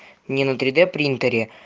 не на три д принтере